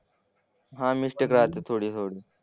हां मिस्टेक राहते थोडी. हो ना.